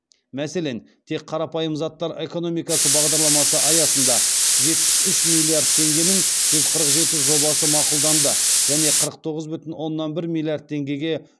мәселен тек қарапайым заттар экономикасы бағдарламасы аясында жетпіс үш миллиард теңгенің жүз қырық жеті жобасы мақұлданды және қырық тоғыз бүтін оонан бір миллиард теңгеге